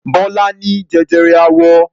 Bọ́lá ní jẹjẹrẹ àwọ.